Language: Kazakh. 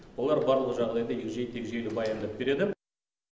олар барлық жағдайды егжей тегжейлі баяндап береді